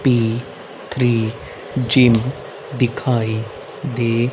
P three gym दिखाई दे--